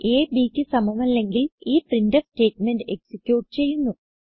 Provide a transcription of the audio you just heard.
അ bക്ക് സമമല്ലെങ്കിൽ ഈ പ്രിന്റ്ഫ് സ്റ്റേറ്റ്മെന്റ് എക്സിക്യൂട്ട് ചെയ്യുന്നു